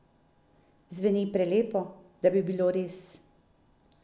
Zveni prelepo, da bi bilo res?